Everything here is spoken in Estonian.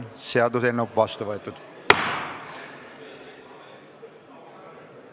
Seaduseelnõu on vastu võetud.